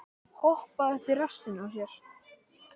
Hoppaði upp í rassinn á sér?